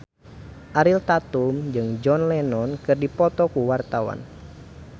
Ariel Tatum jeung John Lennon keur dipoto ku wartawan